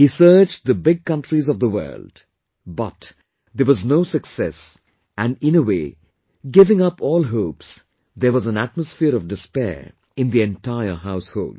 He searched the big countries of the world, but, there was no success and in a way, giving up all hopes, there was an atmosphere of despair in the entire household